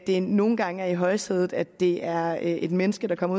det nogle gange er i højsædet at det er et menneske der kommer